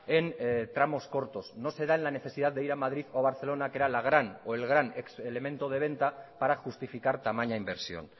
en tramos cortos no se da en la necesidad de ir a madrid o barcelona que era la gran o el gran elemento de venta para justificar tamaña inversión